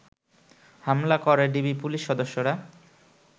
হামলা করে DB police সদস্যরা